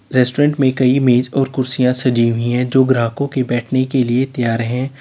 Restaurant में कई मेज और कुर्सियां सजी हुई हैं जो ग्राहकों के बैठने के लिए तैयार हैं।